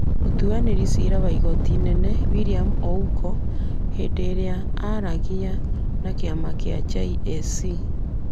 Mũtuanĩri cira wa igooti inene William Ouko, hĩndĩ ĩrĩa aaragia na kĩama kĩa JSC,